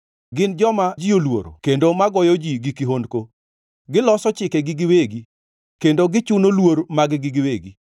Gin joma ji oluoro kendo magoyo ji gi kihondko, giloso chikegi giwegi, kendo gichuno luor mag-gi giwegi.